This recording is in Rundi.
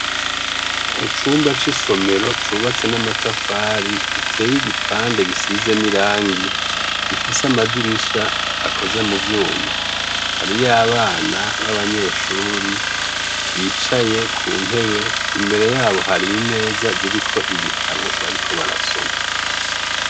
Mu cumba c'isomero cubatse n'amatafari giteye igipande gisize n'irangi, gifise amadirisha akoze mu vyuma. Hariyo abana b'abanyeshuri bicaye ku ntebe. Imbere yabo hari imeza ziriko ibitabo bariko barasoma.